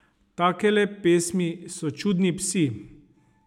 Takele pesmi so čudni psi.